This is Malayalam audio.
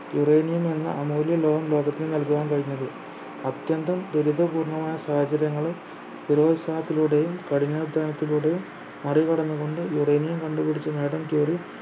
uranium എന്ന അമൂല്യ ലോഹം ലോകത്തിന് നൽകാൻ കഴിഞ്ഞത് അത്യന്തം ദുരിതപൂർണ്ണമായ സാഹചര്യങ്ങളിൽ സ്ഥിരോൽസാഹത്തിലൂടെയും കഠിനാധ്വാനത്തിലൂടെയും മറികടന്നുകൊണ്ട് uranium കണ്ടുപിടിച്ച് മാഡം ക്യൂറി